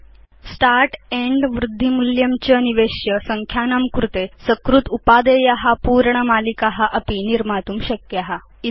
भवान् start and वृद्धि मूल्यं च निवेश्य संख्यानां कृते सकृत् उपादेया पूरण मालिका अपि निर्मातुं शक्नोति